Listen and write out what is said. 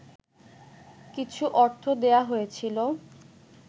কিছু অর্থ দেয়া হয়েছিল